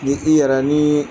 Ni i yɛrɛ ni